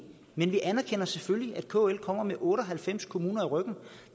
men vi anerkender selvfølgelig at kl kommer med otte og halvfems kommuner i ryggen